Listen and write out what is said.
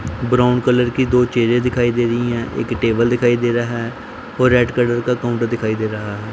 brown colour की दो चेयरे दिखाई दे रही है एक टेबल दिखाई दे रहा व रेड कलर का काउंटर दिखाई दे रहा --